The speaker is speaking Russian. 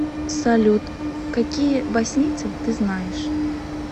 салют какие боснийцы ты знаешь